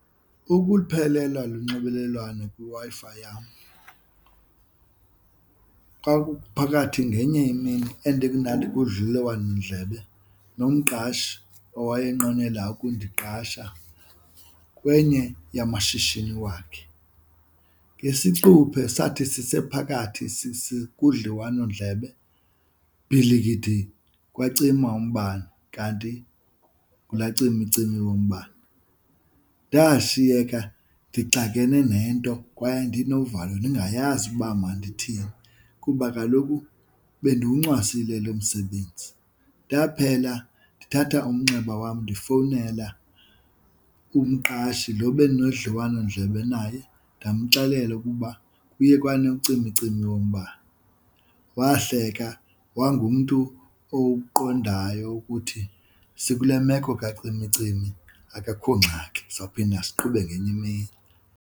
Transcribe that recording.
Ukuphelelwa lunxibelelwano kwiWi-Fi yam xa kuphakathi ngenye imini mna ndikudliwanondlebe nomqashi owayenqwenela ukundiqasha kwenye yamashishini wakhe. Ngesiquphe sathi sisephakathi kudliwanondlebe, bhilikidi kwacima umbane kanti ngulaa cimicimi wombane. Ndashiyeka ndixakene nento kwaye ndinovalo ndingayazi uba mandithini kuba kaloku bendiwuncwasile lo msebenzi. Ndaphela ndithatha umnxeba wam ndifowunele umqashi lo bendinomdliwanondlebe naye ndamxelela ukuba kuye kwanocimicimi yombane. Wahleka wayengumntu owuqondayo ukuthi sikule meko kacimicimi akekho ngxaki, sawuphinda siqhube ngenye imini.